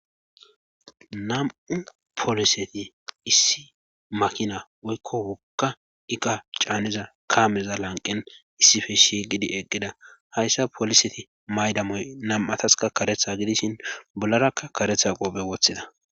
Nam'u pooliseti issi makina woykko oka iqa caaneza kaameza lanqen issife shigidi eqqida hayssa pooliseti maydamoy nam7ataska karetha gidishin bollarakka karetha qophe woththida.